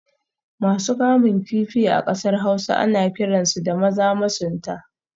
Masu kamun kifi a kasar Hausa ana kiransu da Maza masunta